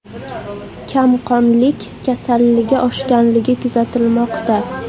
Kamqonlik kasalligi oshganligi kuzatilmoqda.